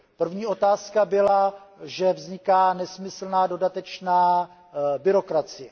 První otázka byla, že vzniká nesmyslná, dodatečná byrokracie.